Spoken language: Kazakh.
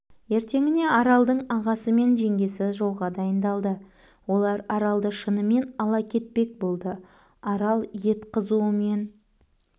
ертеңіне аралддың ағасы мен жеңгесі жолға дайыңдалды олар аралды шынымен ала кетпек болды арал ет қызуымен